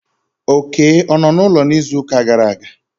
Oké o nnọ n'ụlọ n'izuụka gara aga?